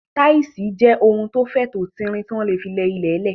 Táṣíṣì jẹ́ ohun tó fẹ̀, tó tin rin, tí wọ́n ń lò fún ilẹ̀ lẹ̀